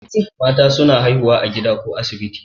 Mata suna haihuwa a gida ko asibiti